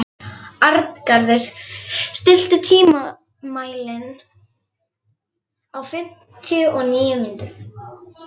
Arngarður, stilltu tímamælinn á fimmtíu og níu mínútur.